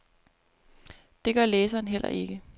Det gør læseren heller ikke.